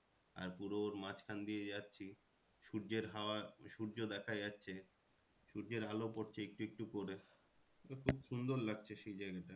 আর পুরো ওর মাঝখান দিয়ে যাচ্ছি সূর্যের হওয়ার, সূর্য দেখা যাচ্ছে সূর্যের আলো পড়ছে একটু একটু করে। তো খুব সুন্দর লাগছে সেই জায়গাটা।